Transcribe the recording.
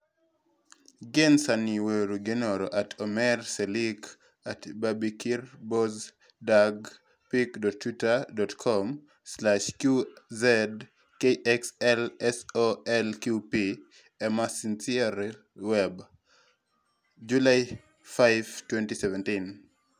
Gie sani, weuru gwenonre @omerrcelik @bybekirbozdag pic.twitter.com/QzKXLSolqp ? Emma Sinclair-Webb (@esinclairwebb) July 5, 2017